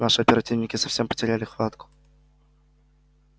наши оперативники совсем потеряли хватку